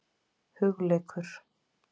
Hugleikur